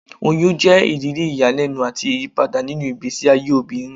Oyun jẹ iriri iyalẹnu ati iyipada ninu igbesi aye obinrin.